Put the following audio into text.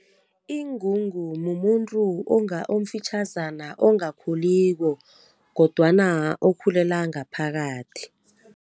Ingungu mumuntu omfitjhazana ongakhuliko, kodwana okhulela ngaphakathi.